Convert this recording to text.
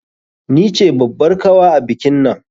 Ni ce babbar kawa a bikinnan.